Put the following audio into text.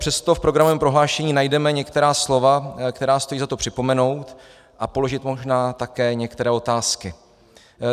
Přesto v programovém prohlášení najdeme některá slova, která stojí za to připomenout, a položit možná také některé otázky.